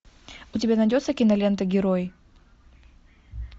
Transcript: у тебя найдется кинолента герой